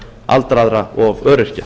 aldraðra og öryrkja